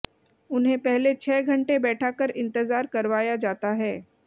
उन्हें पहले छह घंटे बैठाकर इंतजार करवाया जाता है